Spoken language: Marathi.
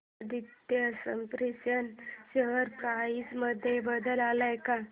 आदित्य स्पिनर्स शेअर प्राइस मध्ये बदल आलाय का